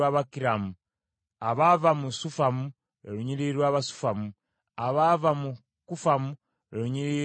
abaava mu Sufamu, lwe lunyiriri lw’Abasufamu; abaava mu Kufamu, lwe lunyiriri lw’Abakufamu.